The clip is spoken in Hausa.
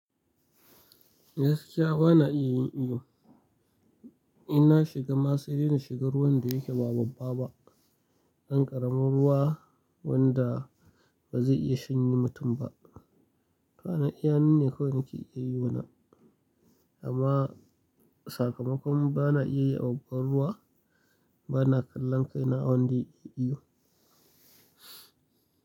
Gaskiya ba na iya yin iyo. Inna shiga ma sai dai na shiga ruwan da yake ba babba ba. Ɗan ƙaramin ruwa wanda ba zai iya shanye mutum ba. Kwana iyalina ne kawai ke iya yi wanan. Amma sakamakon ba na iya yi a unguwan ruwa, ba na kallon kaina wanda ya iya iyo.